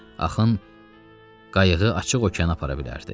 Axın qayığı açıq okeana apara bilərdi.